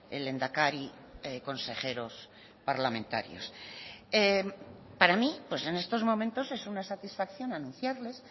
el lehendakari consejeros parlamentarios para mí pues en estos momentos es una satisfacción anunciarles